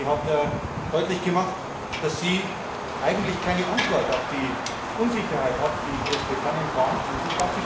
Sie hat deutlich gemacht, dass sie eigentlich keine Antwort auf die Unsicherheit hat, die in Großbritannien vorhanden ist.